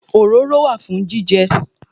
Òróró wà fún jíjẹ